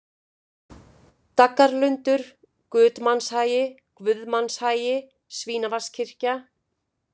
Daggarlundur, Gudmannshagi, Guðmannshagi, Svínavatnskirkja